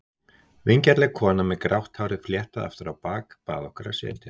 Vingjarnleg kona með grátt hárið fléttað aftur á bak bað okkur að setjast.